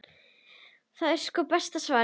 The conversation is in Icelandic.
Það var sko besta svarið.